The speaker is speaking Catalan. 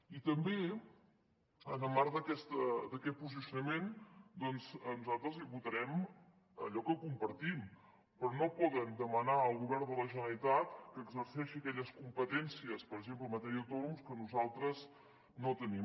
i també en el marc d’aquest posicionament doncs nosaltres li votarem allò que compartim però no poden demanar al govern de la generalitat que exerceixi aquelles competències per exemple en matèria d’autònoms que nosaltres no tenim